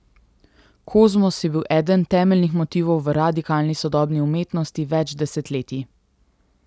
Kozmos je bil eden temeljnih motivov v radikalni sodobni umetnosti več desetletij.